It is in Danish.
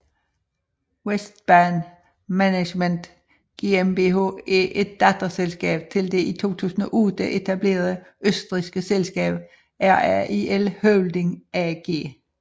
WESTbahn Management GmbH er et datterselskab til det i 2008 etablerede østrigske selskab RAIL Holding AG